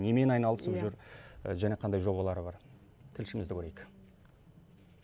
немен айналысып жүр және қандай жобалары бар тілшімізді көрейік